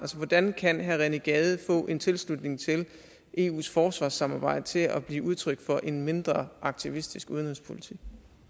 hvordan kan herre rené gade få en tilslutning til eus forsvarssamarbejde til at blive udtryk for en mindre aktivistisk udenrigspolitik